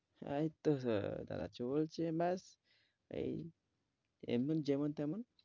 এই তো হো দাদা চলছে চলছে ব্যাস এই এমন যেমন-তেমন,